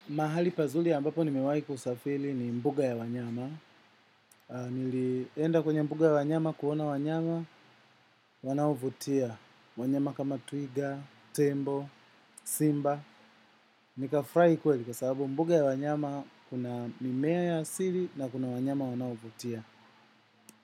Mahali pazuli ambapo nimewai kusafili ni mbuga ya wanyama. Nilienda kwenye mbuga ya wanyama kuona wanyama wanao vutia. Wanyama kama twiga, tembo, simba. Nikafurahi kweli kwa sababu mbuga ya wanyama, ina mimea ya asili na kuna wanyama wanao vutia.